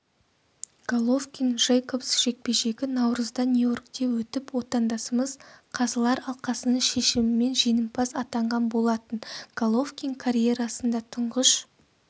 головкин джейкобс жекпе-жегі наурызда нью-йоркте өтіп отандасымыз қазылар алқасының шешімімен жеңімпаз атанған болатын головкин карьерасында тұңғыш